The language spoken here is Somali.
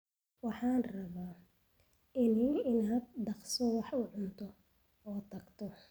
Waxaan rabaa inaan dhaqso wax u cuno oo aan tago